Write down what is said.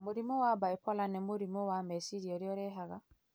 Mũrimũ wa bipolar nĩ mũrimũ wa meciria ũrĩa ũrehaga